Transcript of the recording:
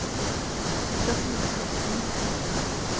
trafikstockning